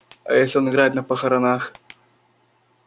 а если он играет на похоронах